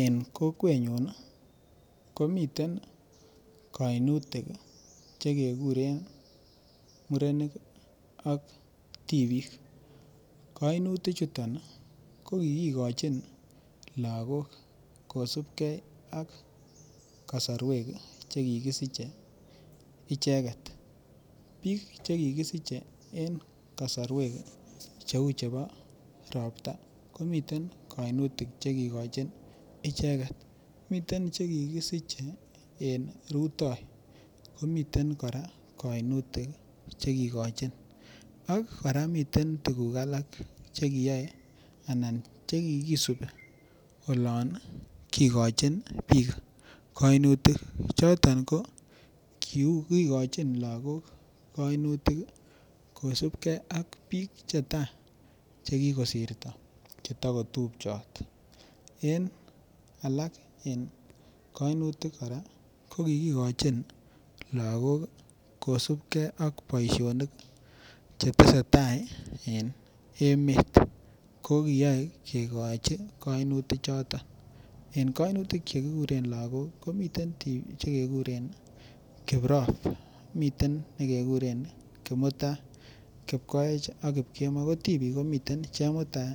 En kokwenyun komiten kainutik chekekuren murenik ak tibiik, kainutichuton ko kikikochin lakok kosipke ak sait nekikisiche icheket, biik chekikisiche en kasorwek chemiten ropta komiten kainutik chekikochin ichekt miten chekikisiche en rutoi komiten kora kainutik chekikochin ak kora komiten tukuk chekiyoe anan chekisupi olon kikochin biik kainutik choton ko kiu kikochoni lakok kainutik kosipke ak biik chetaa chekikosirto cheto kotupchot en alak en kainutik kora ko kikikochin lakok kosipke ak boisionik chetese tai en emet kokiyoe kikochi kainutichoton en kainutik chekikuren lakok komiten che kuren kiprop, miten nekekuren kimutai ,kipkoech ak kipkemoi ko tibiik komiten chumutai,